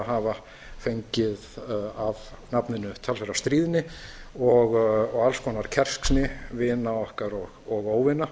hafa fengið af nafninu talsverða stríðni og alls konar kerskni vina okkar og óvina